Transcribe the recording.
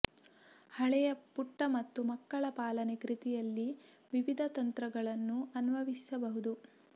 ಹಳೆಯ ಪುಟ್ಟ ಮತ್ತು ಮಕ್ಕಳ ಪಾಲನೆ ಕೃತಿಯಲ್ಲಿ ವಿವಿಧ ತಂತ್ರಗಳನ್ನು ಅನ್ವಯಿಸಬಹುದು